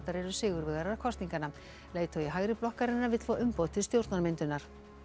eru sigurvegarar kosninganna leiðtogi hægri blokkarinnar vill fá umboð til stjórnarmyndunar